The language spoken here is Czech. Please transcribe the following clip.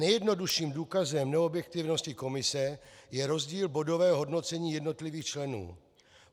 Nejjednodušším důkazem neobjektivnosti komise je rozdíl bodového hodnocení jednotlivých členů.